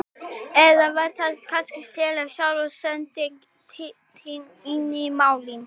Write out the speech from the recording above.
Eða var það kannski Stella sjálf sem setti þig inn í málin?